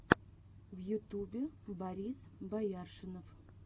в ютубе борис бояршинов